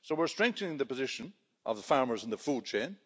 We're strengthening the position of the farmers in the food chain.